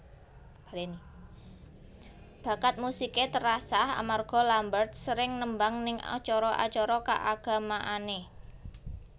Bakat musiké terasah amarga Lambert sering nembang ning acara acara kaagamaanné